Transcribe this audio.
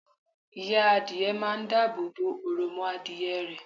Ìya Adìe máa n dáàbò bo òròmọadìyẹ rẹ̀